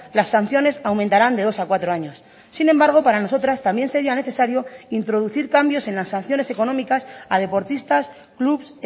las sanciones aumentarán de dos a cuatro años sin embargo para nosotras también sería necesario introducir cambios en las sanciones económicas a deportistas clubs